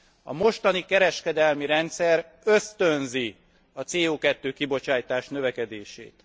A mostani kereskedelmi rendszer ösztönzi a CO 2 kibocsátás növekedését.